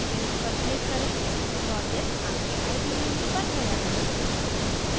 finish पर click करें project आपके ide में बन गया है